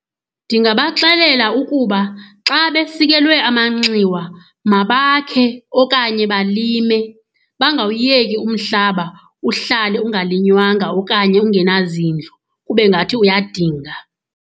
Ndingabaxelela ukuba xa besikelwe amanxiwa mabakhe okanye balime, bangawuyeki umhlaba uhlale ungalinywanga okanye ungenazindlu kube ngathi uyadinga.